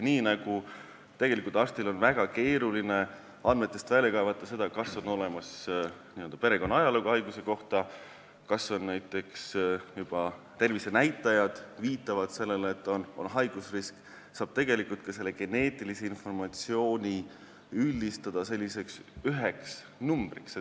Nii nagu arstil on väga keeruline patsiendi andmetest välja kaevata, kas on olemas perekonna ajalugu haiguse kohta või kas näiteks tervisenäitajad viitavad haigusriskile, saab tegelikult ka selle geneetilise informatsiooni üldistada selliseks üheks kogumiks.